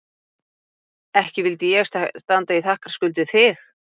Ekki vildi ég standa í þakkarskuld við þig